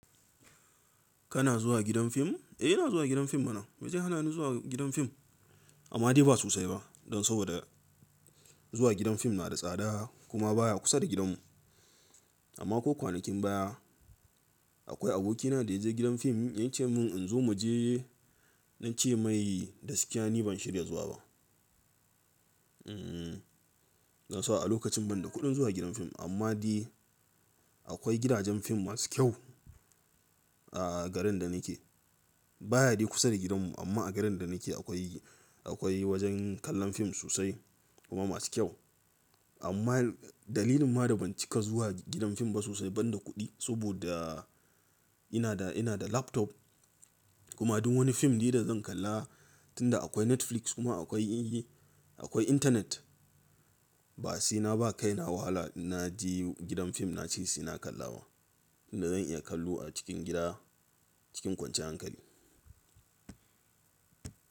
Kana zuwa gidan fim? Eh ina zuwa gidan fim mana. Me zai hanani zuwa gidan fim? Amma dai ba sosai ba dan saboda zuwa gidan fim na da tsada kuma baya kusa da gidan mu. Amma ko kwanakin baya akwai aboki na da ya je gidan fim, ya ce min in zo mu je, na ce mai gaskiya ni ban shirya zuwa ba. Hmm, dan saboda a lokacin ban da kuɗin zuwa gidan fim. Amma dai akwai gidajen fim masu kyau a garin da nake. Baya dai kusa da gidan mu amma a garin da nake akwai, akwai wajen kallon fim sosai kuma masu kyau. Amma dalilin ma da ban cika zuwa gidan fim ba sosai ban da kuɗi saboda ina da, ina da laptop kuma duk wani fim di da zan kalla tunda akwai Netflix kuma akwai, akwai internet. Ba sai na ba kaina wahala na je gidan fim na ce sai na kalla ba. Tunda zan iya kallo a cikin gida cikin kwanciyar hankali.